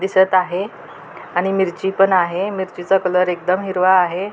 दिसत आहे आणि मिरची पण आहे मिरचीचा कलर एकदम हिरवा आहे.